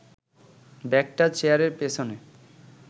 ব্যাগটা চেয়ারের পেছনে